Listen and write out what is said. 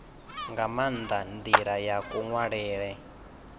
nga maanda ndila ya kunwalele